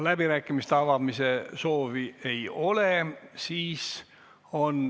Kõnesoove ei ole.